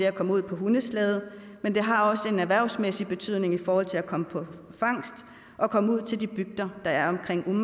at komme ud på hundeslæde men det har også en erhvervsmæssig betydning i forhold til at komme på fangst og komme ud til de bygder der er omkring